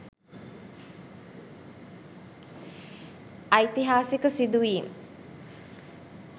ඓතිහාසික සිදුවීම්